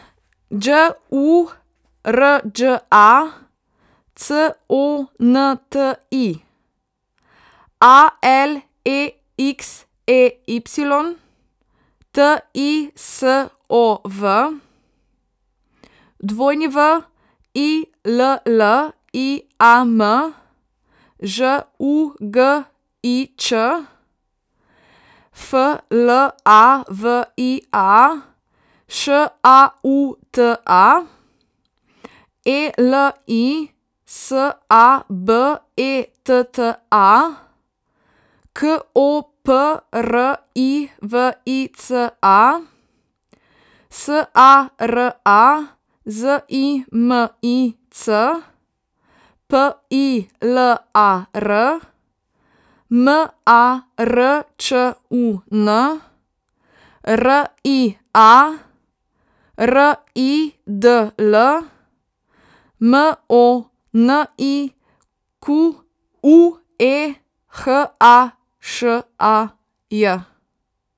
Đ U R Đ A, C O N T I; A L E X E Y, T I S O V; W I L L I A M, Ž U G I Ć; F L A V I A, Š A U T A; E L I S A B E T T A, K O P R I V I C A; S A R A, Z I M I C; P I L A R, M A R Č U N; R I A, R I D L; M O N I Q U E, H A Š A J.